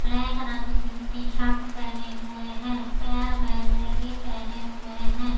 Black रंग की T-shirt पहने हुए हैं। पैर में लेगी पहने हुए हैं।